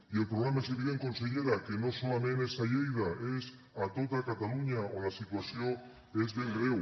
i el problema és evident consellera que no solament és a lleida és a tota catalunya on la situació és ben greu